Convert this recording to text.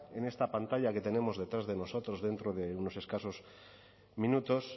en esta pantalla que tenemos detrás de nosotros dentro de unos escasos minutos